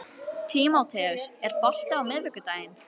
Tímoteus, er bolti á miðvikudaginn?